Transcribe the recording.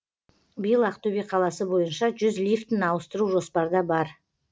биыл ақтөбе қаласы бойынша жүз лифтіні ауыстыру жоспарда бар